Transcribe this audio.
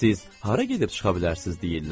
Siz hara gedib çıxa bilərsiniz deyirlər.